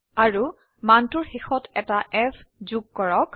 আৰুমানটোৰ শেষত এটা f যোগ কৰক